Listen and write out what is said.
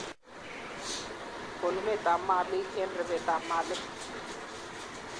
Konunetab malik eng rebetab malik